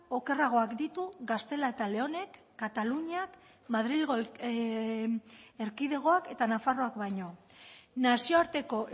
okerragoak ditu gaztela eta leonek kataluniak madrilgo erkidegoak eta nafarroak baino nazioarteko